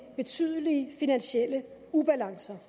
betydelige finansielle ubalancer